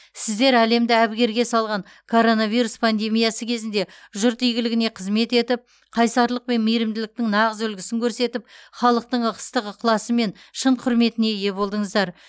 сіздер әлемді әбігерге салған коронавирус пандемиясы кезінде жұрт игілігіне қызмет етіп қайсарлық пен мейірімділіктің нағыз үлгісін көрсетіп халықтың ыстық ықыласы мен шын құрметіне ие болдыңыздар